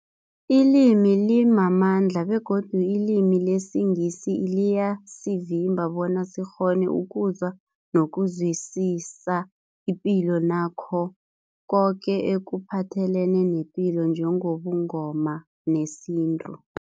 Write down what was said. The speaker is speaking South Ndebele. Ilimi limamandla begodu ilimi lesiNgisi liyasivimba bona sikghone ukuzwa nokuzwisisa ipilo nakho koke ekuphathelene nepilo njengobuNgoma nesintu.